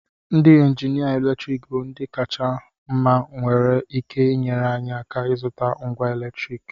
Ndị injinia eletriki bụ ndị kacha mma nwere ike inyere anyị aka ịzụta ngwa eletriki